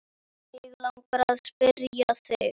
Mig langar að spyrja þig.